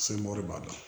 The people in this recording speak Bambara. b'a la